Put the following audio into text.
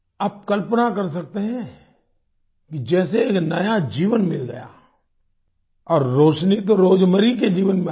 आप कल्पना कर सकते हैं कि जैसे एक नया जीवन मिल गया और रोशनी तो रोजमेरी के जीवन में आई